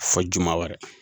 Fo juma wɛrɛ.